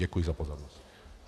Děkuji za pozornost.